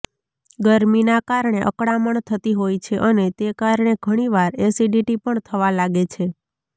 ગરમીના કારણે અકળામણ થતી હોય છે અને તે કારણે ઘણીવાર એસિડિટી પણ થવા લાગે છે